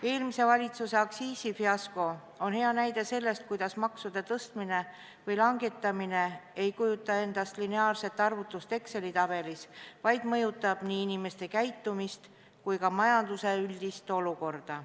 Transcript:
Eelmise valitsuse aktsiisifiasko on hea näide sellest, et maksude tõstmine või langetamine ei kujuta endast lineaarset arvutust Exceli tabelis, vaid mõjutab nii inimeste käitumist kui ka majanduse üldist olukorda.